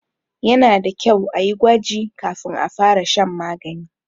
Yana da kyau a yi gwaji kafin a fara shan magani.